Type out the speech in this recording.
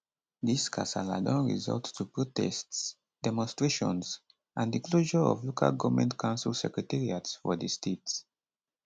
dis kasala don result to protests demonstrations and di closure of local goment council secretariats for di state